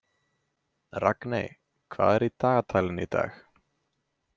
Ragney, hvað er í dagatalinu í dag?